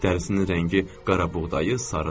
Dərisinin rəngi qara buğdayı sarıdır.